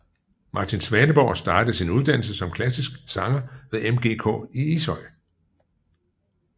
Martin Svaneborg startede sin uddannelse som klassisk sanger ved MGK i Ishøj